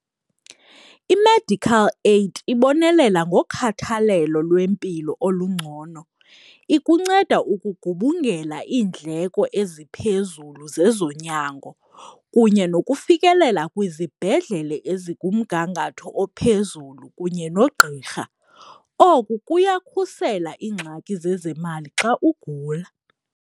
I-medical aid ibonelela ngokhathalelo lwempilo olungcono, ikunceda ukugubungela iindleko eziphezulu zezonyango kunye nokufikelela kwizibhedlele ezikumgangatho ophezulu kunye nogqirha. Oku kuyakhusela iingxaki zezemali xa ugula.